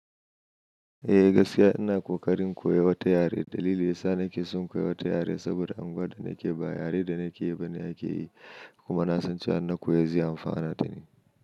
Eh gaskiya ina ƙoƙarin koya wata yare. Dalili yasa nake son koyi wata yare saboda anguwar da nake baya yaren da nake yi ba ne ake yi kuma na san cewa in na koya zai amfanar dani.